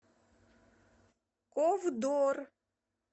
ковдор